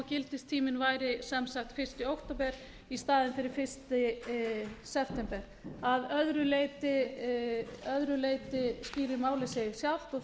gildistíminn væri sem sagt fyrsta október í staðinn fyrir fyrsta september að öðru leyti skýrir málið sig sjálft þetta eru eins og ég